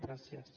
gràcies